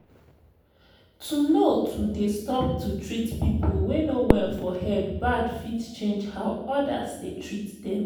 to know to dey stop to treat people wey no well for head bad fit change how others dey treat them